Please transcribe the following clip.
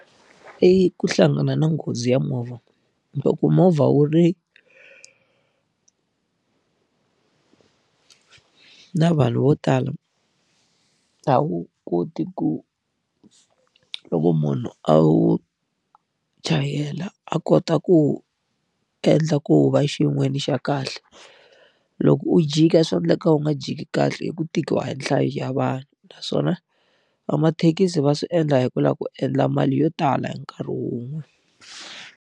I ku hlangana na nghozi ya movha, loko ku movha wu ri na vanhu vo tala, a wu koti ku loko munhu a wu chayela a kota ku wu endla ku wu va xa kahle. Loko u jika swa endleka u nga jiki kahle hi ku tikiwa hi nhlayo ya vanhu. Naswona vamathekisi va swi endla hi ku lava ku endla mali yo tala hi nkarhi wun'we.